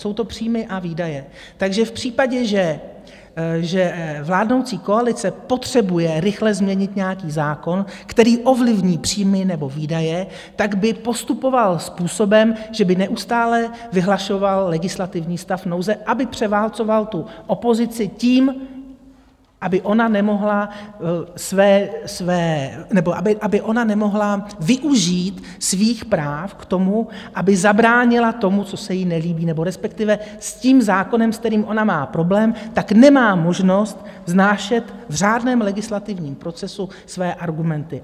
Jsou to příjmy a výdaje, takže v případě, že vládnoucí koalice potřebuje rychle změnit nějaký zákon, který ovlivní příjmy nebo výdaje, tak by postupovala způsobem, že by neustále vyhlašovala legislativní stav nouze, aby převálcovala tu opozici tím, aby ona nemohla využít svých práv k tomu, aby zabránila tomu, co se jí nelíbí, nebo respektive s tím zákonem, s kterým ona má problém, tak nemá možnost vznášet v řádném legislativním procesu své argumenty.